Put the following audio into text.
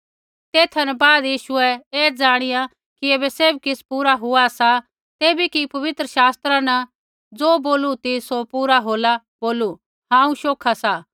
तेथा न बाद यीशुऐ ऐ ज़ाणिया कि ऐबै सैभ किछ़ पूरा हुआ सा तैबै कि पबित्र शास्त्रा न ज़ो बोलू ती सौ पूरा होला बोलू हांऊँ शौखा सा